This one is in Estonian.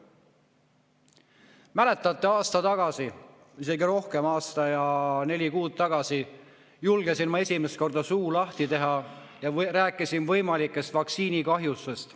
Mäletate, aasta tagasi – isegi rohkem, aasta ja neli kuud tagasi – julgesin ma esimest korda suu lahti teha ja rääkida võimalikest vaktsiinikahjustusest.